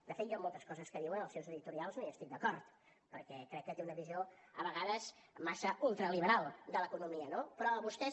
de fet jo moltes coses que diuen en els seus editorials no hi estic d’acord perquè crec que té una visió a vegades massa ultraliberal de l’economia no però a vostès